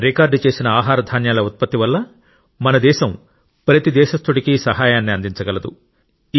record చేసిన ఆహార ధాన్యాల ఉత్పత్తి వల్ల మన దేశం ప్రతి దేశస్థుడికి సహాయాన్ని అందించగలదు